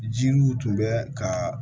Jiriw tun bɛ ka